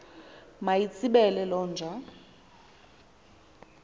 mayitsibele loo nja